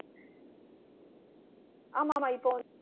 ஆமாமா இப்போ